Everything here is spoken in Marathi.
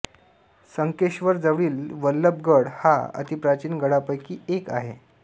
संकेश्वर जवळील वल्लभगड हा अतिप्राचीन गडांपैकी एक आहे